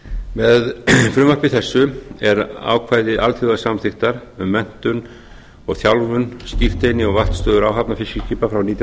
með frumvarpi þessu er ákvæði alþjóðasamþykktar um menntun og þjálfun skírteini og vaktstöð áhafna fiskiskipa frá nítján hundruð níutíu